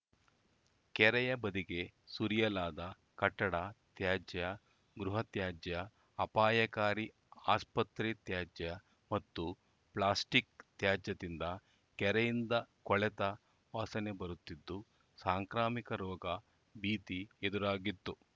ಕೆರೆಯ ಬದಿಗೆ ಸುರಿಯಲಾದ ಕಟ್ಟಡ ತ್ಯಾಜ್ಯ ಗೃಹ ತ್ಯಾಜ್ಯ ಅಪಾಯಕಾರಿ ಆಸ್ಪತ್ರೆ ತ್ಯಾಜ್ಯ ಮತ್ತು ಪ್ಲಾಸ್ಟಿಕ್‌ ತ್ಯಾಜ್ಯದಿಂದ ಕೆರೆಯಿಂದ ಕೊಳೆತ ವಾಸನೆಬರುತ್ತಿದ್ದು ಸಾಂಕ್ರಾಮಿಕ ರೋಗ ಭೀತಿ ಎದುರಾಗಿತ್ತು